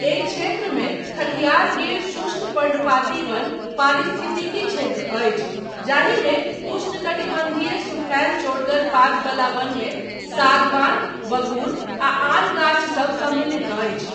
एहि क्षेत्रमे खथियार गिर शुष्क पर्णपाती वन पारिस्थितिकी क्षेत्र अछि जाहिमे उष्णकटिबन्धीय सुखायल चौड़गर पातवला वनमे सागवान, बगूर आ आन गाछसब सम्मिलित अछि।